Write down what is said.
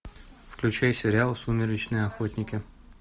включай сериал сумеречные охотники